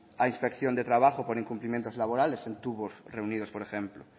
a inspección de trabajo por incumplimientos laborales en tubos reunidos por ejemplo